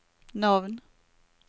navn